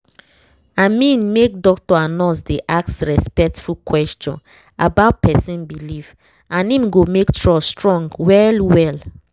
i mean make doctor and nurse dey ask respectful question about person belief—na him go make trust strong well well